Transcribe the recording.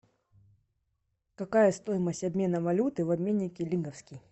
какая стоимость обмена валюты в обменнике лиговский